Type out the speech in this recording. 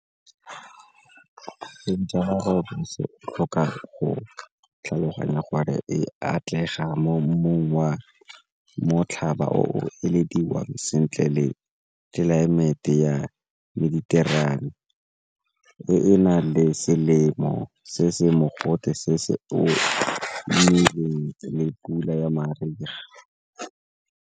o tlhoka go tlhaloganya gore e atlega mo mmung wa motlhaba o o elediwang sentle le tlelaemete ya e e na le selemo se se mogote se se omileng le pula ya mariga.